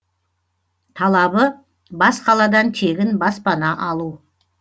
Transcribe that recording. талабы бас қаладан тегін баспана алу